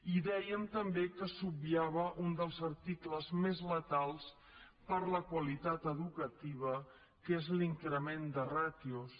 i dèiem també que s’obviava un dels articles més letals per a la qualitat educativa que és l’increment de ràtios